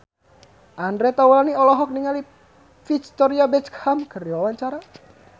Andre Taulany olohok ningali Victoria Beckham keur diwawancara